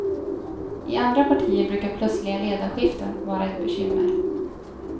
I andra partier brukar plötsliga ledarskiften vara ett bekymmer.